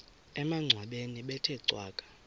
emangcwabeni bethe cwaka